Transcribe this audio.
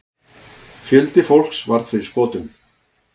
Fjöldi fólks varð fyrir skotum.